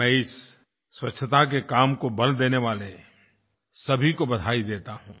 मैं इस स्वच्छता के काम को बल देने वाले सभी को बधाई देता हूँ